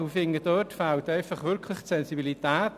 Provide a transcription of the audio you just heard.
Ich finde, hier fehlt wirklich die Sensibilität.